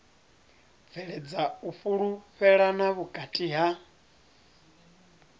bveledza u fhulufhelana vhukati ha